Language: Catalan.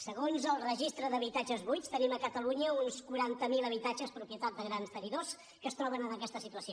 segons el registre d’habitatges buits tenim a catalunya uns quaranta miler habitatges propietat de grans tenidors que es troben en aquesta situació